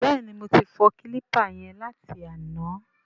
Bẹ́ẹ̀ni, mo ti fọ kílípà yẹn láti àná.